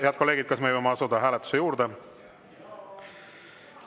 Head kolleegid, kas me võime asuda hääletuse juurde?